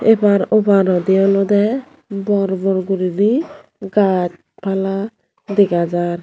epar oparodi olodey bor bor guriney gaaj pala dega jar.